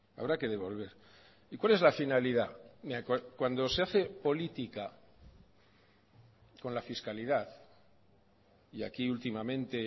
habrá que devolver y cuál es la finalidad cuando se hace política con la fiscalidad y aquí últimamente